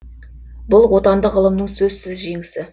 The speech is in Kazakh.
бұл отандық ғылымның сөзсіз жеңісі